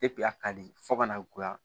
a ka di fo ka na goya